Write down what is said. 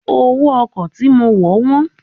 Owó ọkọ̀ tí mo wọ̀ wọ́n.